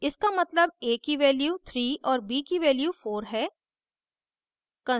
इसका मतलब a की value 3 और b की value 4 है